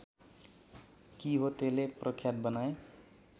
किहोतेले प्रख्यात बनाए